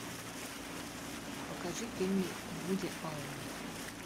покажи фильмы вуди аллена